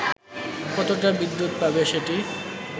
কতটা বিদ্যুৎ পাবে সেটি